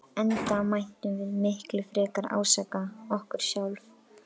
Enda mættum við miklu frekar ásaka okkur sjálf.